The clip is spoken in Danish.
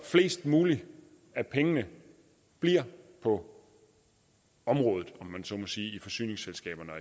flest muligt af pengene bliver på området om man så må sige i forsyningsselskaberne